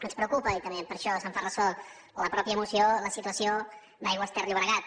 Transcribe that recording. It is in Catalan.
ens preocupa i també per això se’n fa ressò la mateixa moció la situació d’aigües ter llobregat